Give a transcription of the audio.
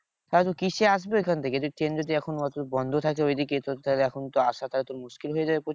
তাহলে কিসে আসবি ওখান থেকে তুই ট্রেন যদি এখন বন্ধ থাকে ঐদিকে তোর তাহলে এখন আসাটা তো মুশকিল হয়ে যায়।